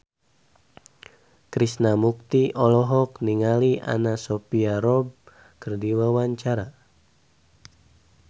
Krishna Mukti olohok ningali Anna Sophia Robb keur diwawancara